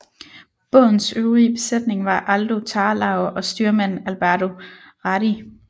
Bådens øvrige besætning var Aldo Tarlao og styrmand Alberto Radi